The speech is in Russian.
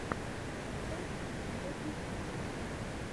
батл битого пикселя